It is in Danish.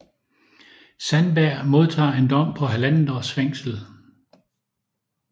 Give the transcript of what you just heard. Sandberg modtager en dom på halvandet års fængsel